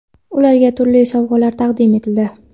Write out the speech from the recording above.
ularga turli sovg‘alar taqdim etildi.